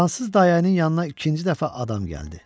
Fransız dayənin yanına ikinci dəfə adam gəldi.